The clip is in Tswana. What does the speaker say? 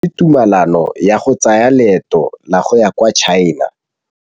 O neetswe tumalanô ya go tsaya loetô la go ya kwa China.